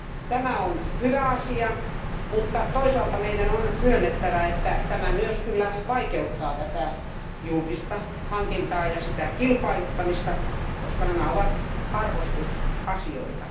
Tämä on hyvä asia, mutta toisaalta meidän on myönnettävä, että tämä myös kyllä vaikeuttaa julkista hankintaa ja kilpailuttamista, koska nämä ovat arvostusasioita.